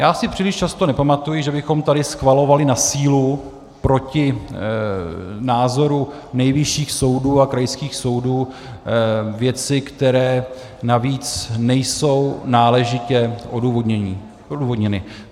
Já si příliš často nepamatuji, že bychom tady schvalovali na sílu proti názoru nejvyšších soudů a krajských soudů věci, které navíc nejsou náležitě odůvodněny.